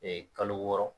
kalo wɔɔrɔ